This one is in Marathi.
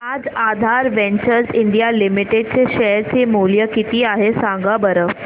आज आधार वेंचर्स इंडिया लिमिटेड चे शेअर चे मूल्य किती आहे सांगा बरं